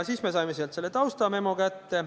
Siis me saime sealt selle taustamemo kätte.